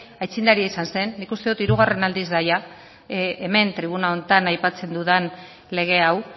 aitzindaria izan zen nik uste dut hirugarren aldiz da jada hemen tribuna honetan aipatzen dudan lege hau